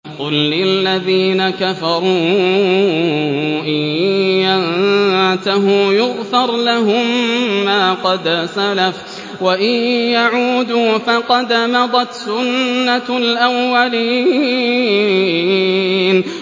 قُل لِّلَّذِينَ كَفَرُوا إِن يَنتَهُوا يُغْفَرْ لَهُم مَّا قَدْ سَلَفَ وَإِن يَعُودُوا فَقَدْ مَضَتْ سُنَّتُ الْأَوَّلِينَ